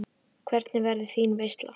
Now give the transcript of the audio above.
Hvernig verður þín veisla?